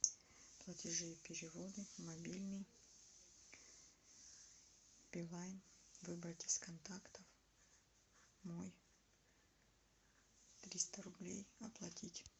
платежи и переводы мобильный билайн выбрать из контактов мой триста рублей оплатить